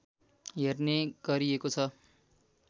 हेर्ने गरिएको छ